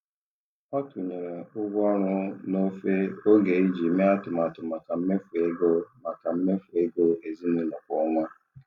Ọ tụnyere ụgwọ ọrụ n'ofe oge iji mee atụmatụ maka mmefu ego maka mmefu ego ezinụlọ kwa ọnwa.